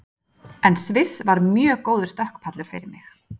En Sviss var mjög góður stökkpallur fyrir mig.